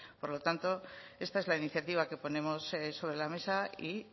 por lo tanto esta es la iniciativa que ponemos sobre la mesa y